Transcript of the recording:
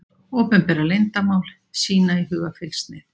Opinbera leyndarmál, sýna í hugarfylgsnið.